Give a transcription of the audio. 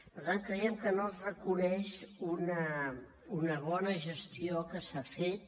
per tant creiem que no es reconeix una bona gestió que s’ha fet